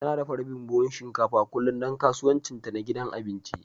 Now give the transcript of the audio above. Tana dafa rabin buhun shinkafa kullum don kasuwancinta na gidan abinci